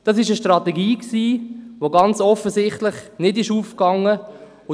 Das war eine Strategie, die ganz offensichtlich nicht aufgegangen ist.